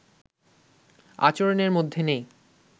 আচরণের মধ্যে নেই